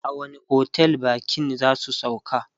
a wani otel bakin zasu sauka?